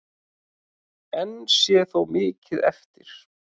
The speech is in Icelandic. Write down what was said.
Enn sé þó mikið eftir.